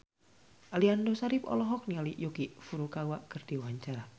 Aliando Syarif olohok ningali Yuki Furukawa keur diwawancara